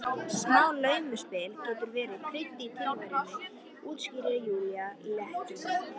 Smá laumuspil getur verið krydd í tilveruna, útskýrir Júlía léttúðug.